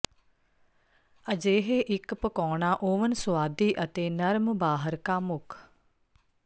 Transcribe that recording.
ਅਜਿਹੇ ਇੱਕ ਪਕਾਉਣਾ ਓਵਨ ਸੁਆਦੀ ਅਤੇ ਨਰਮ ਬਾਹਰ ਕਾਮੁਕ